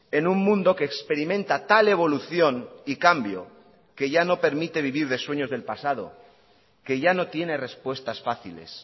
en un mundo que experimenta tal evolución y cambio que ya no permite vivir de sueños del pasado que ya no tiene respuestas fáciles